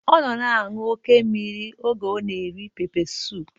Ọ nọ na-aṅụ oké mmiri oge ọ na-eri pepe suup